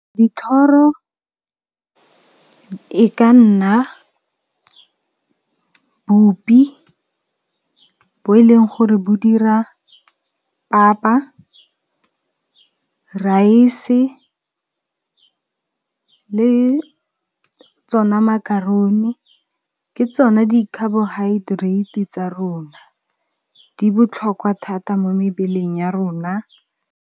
Dithoro e ka nna bupi bo e leng gore bo dira papa, raese le tsona macaroni, ke tsona di-carbohydrate tsa rona di botlhokwa thata mo mebeleng ya rona.